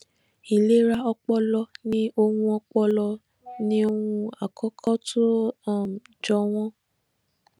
ìlera ọpọlọ ni ohun ọpọlọ ni ohun àkókó tó um jọ wọn